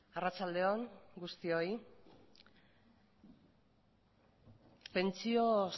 arratsaldeon guztioi pentsio